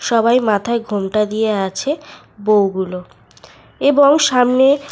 সবাই মাথায় ঘোমটা দিয়ে আছে বউগুলো এবং সামনে--